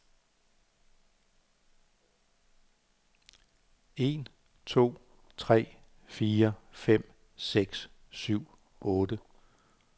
Tester en to tre fire fem seks syv otte.